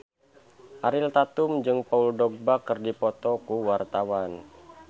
Ariel Tatum jeung Paul Dogba keur dipoto ku wartawan